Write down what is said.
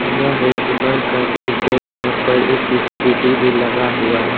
यह एक दुकान का दृश्य जहां पर एक स्कूटी भी लगा हुआ है।